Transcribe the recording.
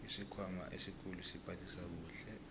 isikhwama esikhulu siphathisa kuhle